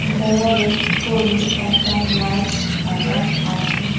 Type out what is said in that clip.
দেওয়ালের উপরে একটা লাইট লাগা আছে।